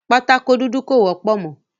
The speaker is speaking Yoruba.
Pátákó dúdú kò wọ́pọ̀ mọ́.